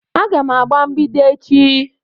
Aga m agba mgbidi echi